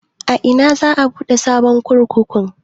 A ina za a buɗe sabon kurkuku?